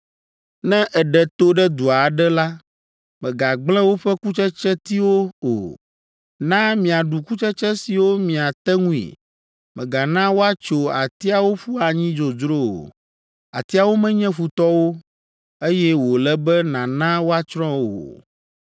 “Ne èɖe to ɖe du aɖe la, mègagblẽ woƒe kutsetsetiwo o. Na miaɖu kutsetse siwo miate ŋui. Mègana woatso atiawo ƒu anyi dzodzro o. Atiawo menye futɔwo, eye wòle be nàna woatsrɔ̃ wo o!